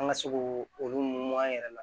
An ka se k'o olu mun an yɛrɛ la